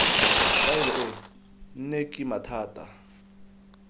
faele e nne kima thata